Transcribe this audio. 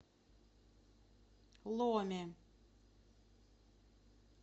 ломе